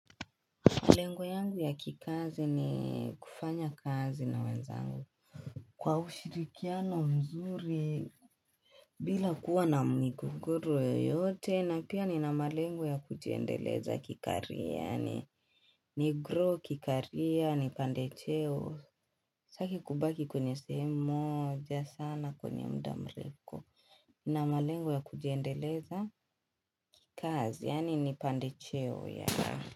Malengo yangu ya kikazi ni kufanya kazi na wenzangu Kwa ushirikiano mzuri bila kuwa na migogoro yoyote na pia ni na malengo ya kujiendeleza kikaria yaani ni grow kikaria ni pande cheo Sitaki kubaki kwenye sehemu mooja sana kwenye mda mreko ni na malengo ya kujiendeleza kazi yaani ni pande cheo yaa.